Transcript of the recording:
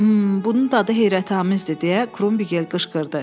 M, bunun dadı heyrətamizdir deyə Krumbigel qışqırdı.